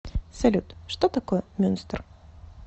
салют что такое мюнстер